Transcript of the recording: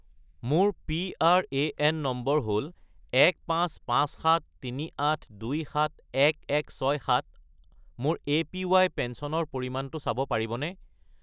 মোৰ PRAN number হ'ল 155738271167 , মোৰ এপিৱাই পেঞ্চনৰ পৰিমাণটো চাব পাৰিবনে?